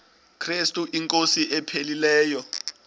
krestu inkosi ephilileyo